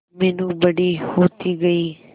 मीनू बड़ी होती गई